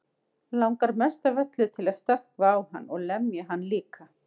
Langar mest af öllu til að stökkva á hann og lemja hann líka.